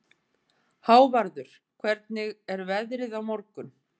Hávarður, hvernig er veðrið á morgun?